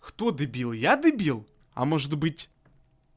кто дебил я дебил а может быть